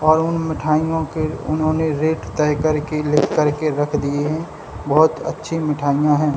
और उन मिठाइयों के उन्होंने रेट तय करके लिखकर के रख दिए हैं बहुत अच्छी मिठाइयां हैं।